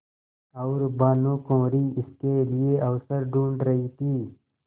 और भानुकुँवरि इसके लिए अवसर ढूँढ़ रही थी